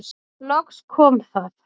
Loks kom það.